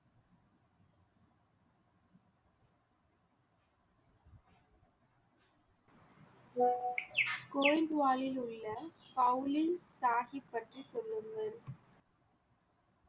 வாலில் உள்ள சாஹிப் பற்றி சொல்லுங்கள்